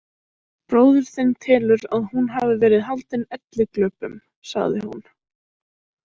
Bróðir þinn telur að hún hafi verið haldin elliglöpum, sagði hún.